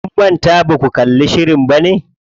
Kun manta baku kalli shirin bane?